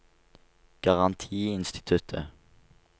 garantiinstituttet